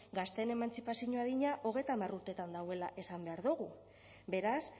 gazteen emantzipazio adina hogeita hamar urteetan dagoela esan behar dugu beraz